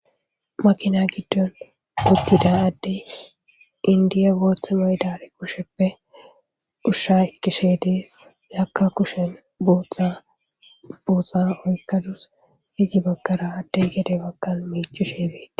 makina giddon uttida addey indiya boothmaydari kusheppe ushsha ikkishe dees yakka kushen buthabuuhxa oykkadus izi baggara addey gede baggan meichu sheebee